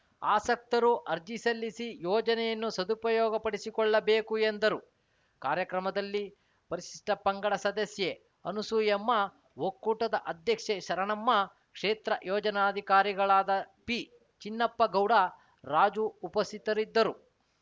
ಆಸಕ್ತರು ಅರ್ಜಿಸಲ್ಲಿಸಿ ಯೋಜನೆಯನ್ನು ಸದುಪಯೋಗಪಡಿಸಿಕೊಳ್ಳಬೇಕು ಎಂದರು ಕಾರ್ಯಕ್ರಮದಲ್ಲಿ ಪರಿಷಿಷ್ಠ ಪಂಗಡ ಸದಸ್ಯೆ ಅನಸೂಯಮ್ಮ ಒಕ್ಕೂಟದ ಅಧ್ಯಕ್ಷೆ ಶರಣಮ್ಮ ಕ್ಷೇತ್ರ ಯೋಜನಾಧಿಕಾರಿಗಳಾದ ಪಿಚಿನ್ನಪ್ಪಗೌಡ ರಾಜು ಉಪಸ್ಥಿತರಿದ್ದರು